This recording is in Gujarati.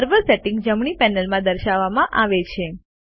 સર્વર સેટિંગ્સ જમણી પેનલમાં દર્શાવવામાં આવે છે